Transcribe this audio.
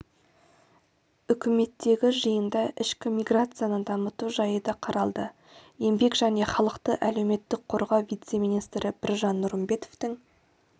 үкіметтегі жиында ішкі миграцияны дамыту жайы да қаралды еңбек және халықты әлеуметтік қорғау вице-министрі біржан нұрымбетовтің